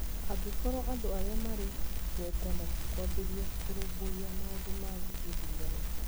angĩkorũo andũ arĩa marĩ igweta matikwambĩrĩria kũrũmbũiya maũndũ ma gĩthurano.